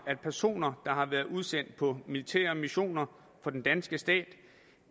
at personer der har været udsendt på militære missioner for den danske stat